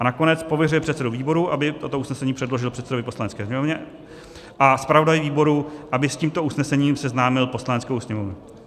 A nakonec pověřuje předsedu výboru, aby toto usnesení předložil předsedovi Poslanecké sněmovny, a zpravodaji výboru, aby s tímto usnesením seznámil Poslaneckou sněmovnu.